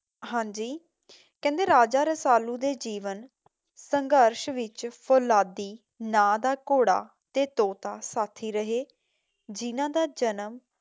ਹਾਂਜੀ, ਕਹਿੰਦੇ ਰਾਜਾ ਰਸਾਲੁ ਦੇ ਜੀਵਨ ਸੰਘਰਸ਼ ਵਿੱਚ ਫੌਲਾਦੀ ਨਾਮ ਦਾ ਘੋੜਾ ਤੇ ਤੋਤਾ ਸਾਥੀ ਰਹੇ ਜਿਨ੍ਹਾਂ ਦਾ ਜਨਮ